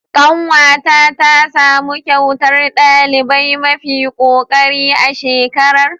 Ƙanwata tasamu kyautar ɗaliba mafi kokari a shekarar.